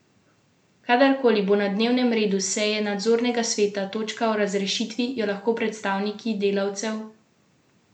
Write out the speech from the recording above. Kadar koli bo na dnevnem redu seje nadzornega sveta točka o razrešitvi, jo lahko predstavniki delavcev in lokalne skupnosti, ki so Gašparju Mišiču odkrito naklonjeni, zapustijo.